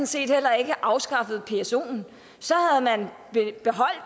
set heller ikke afskaffet psoen så